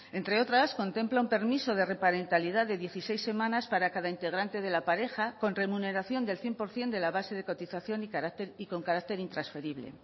entre otras contempla un permiso de reparentalidad de dieciséis semanas para cada integrante de la pareja con remuneración del cien por ciento de la base de cotización y con carácter intransferible